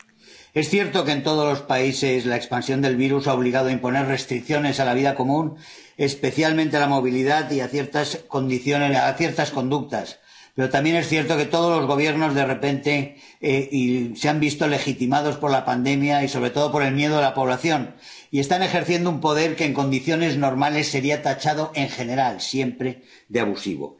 Señora presidenta, es cierto que, en todos los países, la expansión del virus ha obligado a imponer restricciones a la vida común, especialmente a la movilidad y a ciertas conductas, pero también es cierto que todos los Gobiernos, de repente, se han visto legitimados por la pandemia y, sobre todo, por el miedo de la población, y están ejerciendo un poder que en condiciones normales sería tachado, en general, siempre de abusivo.